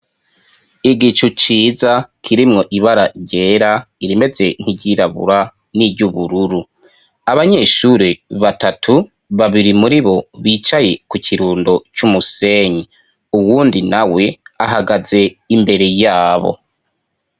Igicu ciza kirimwo ibara ryera irimeze nk'iryirabura, n'iry'ubururu. Abanyeshuri batatu ,babiri muribo bicaye ku kirundo c'umusenyi. Uwundi nawe ahagaze imbere yabo.